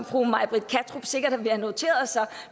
fru may britt kattrup sikkert vil have noteret sig